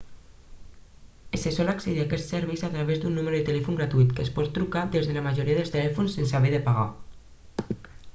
se sol accedir a quests serveis a través d'un número de telèfon gratuït que es pot trucar des de la majoria de telèfons sense haver de pagar